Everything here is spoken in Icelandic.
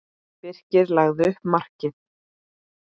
Birkir lagði upp markið.